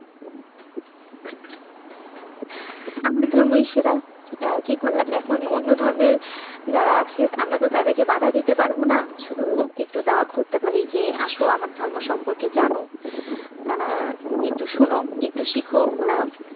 আপন ধর্মই সেরা। কি করা যাবে এখন অন্য ধর্মের যারা আছে আমরা তো তাদেরকে বাধা দিতে পারবো না। শুধু একটু দাওয়াত করতে পারি যে আসো আমার ধর্ম সম্পর্কে জানো একটু শোনো, একটু শিখো ।